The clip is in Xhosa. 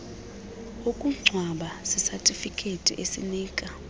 wokungcwaba sisatifiketi esinika